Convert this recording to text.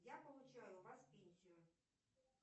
я получаю у вас пенсию